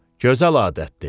Gözəl adətdir.